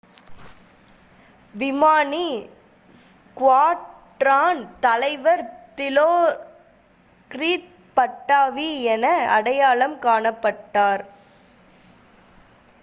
விமானி ஸ்குவாட்ரான் தலைவர் Dilokrit Pattavee என அடையாளம் காணப்பட்டார்